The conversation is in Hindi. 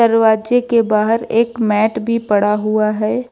दरवाजे के बाहर एक मैट भी पड़ा हुआ है।